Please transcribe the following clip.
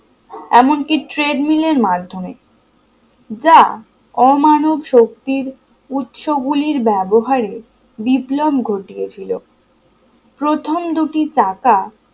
এমনকি trade mill এর মাধ্যমে যা অমানব শক্তির উৎস গুলির ব্যবহারে বিপ্লব ঘটিয়েছিল প্রথম দুটি চাকা